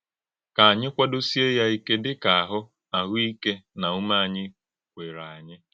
Kà ányị kwádósíé ya íké dị ka áhụ́ áhụ́ íké na ùmé ányị kwèrè ányị.